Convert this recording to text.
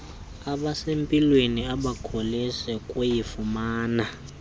abasempilweni abakholisi kuyifumana